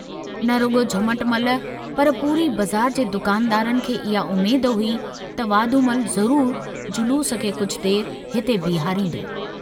न रुगो झमटमल पर पूरी बज़ार जे दुकानदारनि खे इहा उम्मेद हुई त वाधूमल ज़रूर जलूस खे कुछ देर हिते बीहारींदो।